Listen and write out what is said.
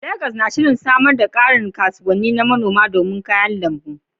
Legas na shirin samar da ƙarin kasuwannin manoma domin raba kayan lambu.